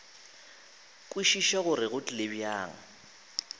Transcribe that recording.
kwešiša gore go tlile bjang